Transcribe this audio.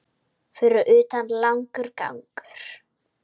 Fyrir utan langur gangur.